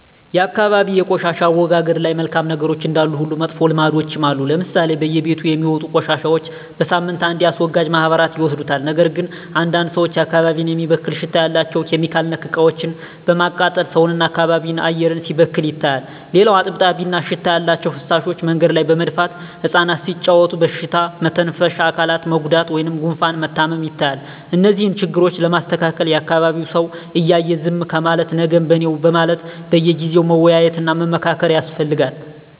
የአካባቢ የቆሻሻ አወጋገድ ላይ መልካም ነገሮች እንዳሉ ሁሉ መጥፎ ልምዶችም አሉ ለምሳሌ በየቤቱ የሚወጡ ቆሻሻዎች በሳምንት አንዴ አስወጋጅ ማህበራት ይወስዱታል ነገር ግን አንዳንድ ሰዎች አካባቢን የሚበክል ሽታ ያላቸው (ኬሚካል)ነክ እቃዎችን በማቃጠል ሰውን እና የአካባቢ አየር ሲበከል ይታያል። ሌላው እጥብጣቢ እና ሽታ ያላቸው ፍሳሾች መንገድ ላይ በመድፋት እፃናት ሲጫዎቱ በሽታ መተንፈሻ አካላት መጎዳት ወይም ጉፋን መታመም ይታያል። እነዚህን ችግሮች ለማስተካከል የአካቢዉ ሰው እያየ ዝም ከማለት ነገም በኔነው በማለት በየጊዜው መወያየት እና መመካከር ያስፈልጋል።